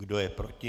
Kdo je proti?